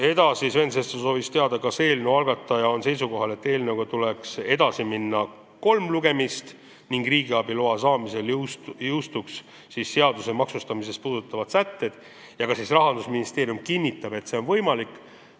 Edasi soovis Sven Sester teada, kas eelnõu algataja on seisukohal, et eelnõuga tuleks edasi minna, läbida kolm lugemist, riigiabiloa saamisel jõustuksid maksustamist puudutavad sätted ja kas Rahandusministeerium kinnitab, et see on võimalik.